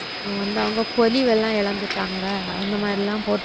வந்து அவங்க பொழிவெல்லாம் இழந்துட்டாங்க அந்த மாதிரிலாம் போட்டிருந்தாங்க